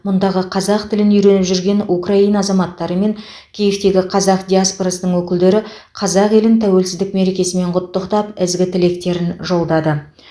мұндағы қазақ тілін үйреніп жүрген украина азаматтары мен киевтегі қазақ диаспорасының өкілдері қазақ елін тәуелсіздік мерекесімен құттықтап ізгі тілектерін жолдады